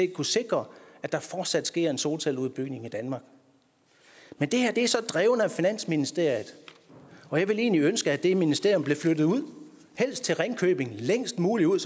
kunne sikre at der fortsat sker en solcelleudbygning i danmark men det her er så drevet af finansministeriet og jeg ville egentlig ønske at det ministerium blev flyttet ud helst til ringkøbing længst muligt ud